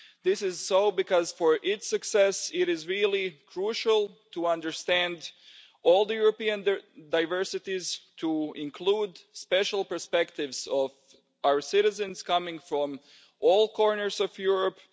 This is because, for its success, it is really crucial to understand all the European diversities and to include the special perspectives of our citizens coming from all corners of Europe.